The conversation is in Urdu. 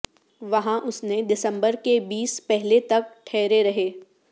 وہاں اس نے دسمبر کے بیس پہلے تک ٹھہرے رہے